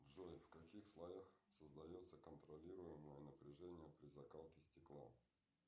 джой в каких слоях создается контролируемое напряжение при закалке стекла